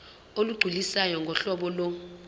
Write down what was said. olugculisayo ngohlobo lo